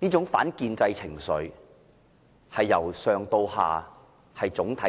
這種反建制情緒是由上至下，總體